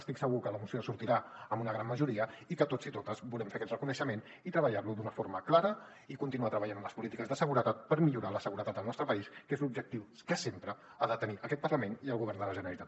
estic segur que la moció sortirà amb una gran majoria i que tots i totes volem fer aquest reconeixement i treballar lo d’una forma clara i continuar treballant en les polítiques de seguretat per millorar la seguretat al nostre país que és l’objectiu que sempre han de tenir aquest parlament i el govern de la generalitat